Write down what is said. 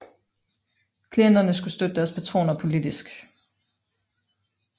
Klienterne skulle støtte deres patroner politisk